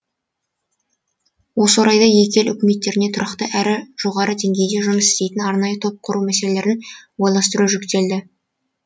осы орайда екі ел үкіметтеріне тұрақты әрі жоғары деңгейде жұмыс істейтін арнайы топ құру мәселелерін ойластыру жүктелді